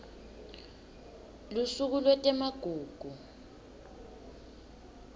lusuku lwetemagugu